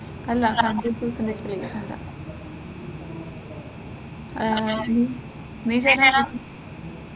അല്ല hundred percentage പ്ലേസ്‌മെന്റാ ആഹ് നീ ചേരാൻ ആണോ?